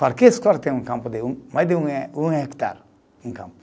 Qualquer escola tem um campo de um, mais de um eh, um hectare um campo.